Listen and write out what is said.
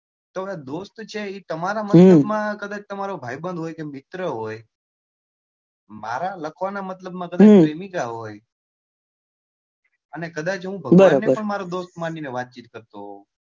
દોસ્ત છે એ તમારા મતલબમાં કદાચ તમારો ભાઈબંધ હોય કે મિત્ર હોય મારા લખવાના મતલબમાં પ્રેમિકા હોય અને કદાચ હું ભગવાનને પણ મારો દોસ્ત માની ને વાતચીત કરતો હોય.